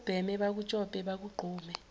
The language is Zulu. ubheme bakutshope bakugqume